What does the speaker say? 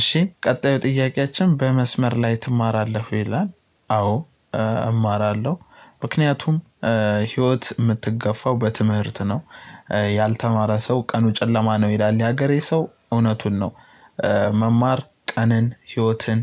እሺ ቀጣዩ ጥያቄያችን "በመስመር ላይ ትማራለህ?" ይላል፣ አዎ እማራለሁ። ምክንያቱም ህይወት የምትገፋው በትምህርት ነው። "ያልተማረ ሰው ቀኑ ጨለማ ነው" ይላል የሀገሬ ሰው እውነቱን ነው። መማር ቀንን ህይወትን